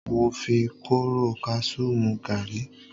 Mo fi kóóró kasú mú gàárì.